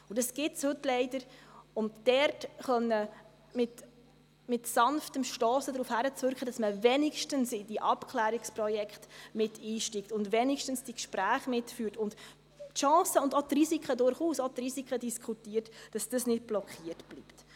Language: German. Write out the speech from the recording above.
Das gibt es heute leider, und dort können wir mit sanftem Stossen darauf hinwirken, dass man wenigstens in Abklärungsprojekte einsteigt, die Gespräche führt und die Chancen und auch die Risiken diskutiert, damit dies nicht blockiert bleibt.